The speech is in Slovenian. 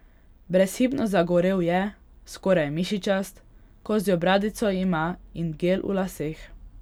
Brezhibno zagorel je, skoraj mišičast, kozjo bradico ima in gel v laseh.